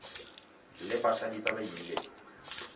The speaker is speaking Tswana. le basadi ba ba imileng